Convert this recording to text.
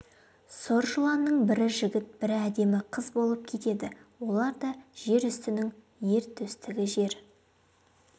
сұр жыланның бірі жігіт бірі әдемі қыз болып кетеді олар да жер үстінің ер төстігі жер